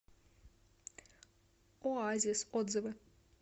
оазис отзывы